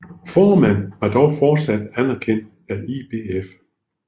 Foreman var dog fortsat anerkendt af IBF